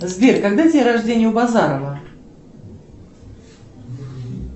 сбер когда день рождения у базарова